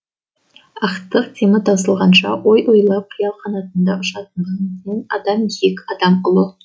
ақтық демі таусылғанша ой ойлап қиял қанатында ұшатындығымен адам биік адам ұлы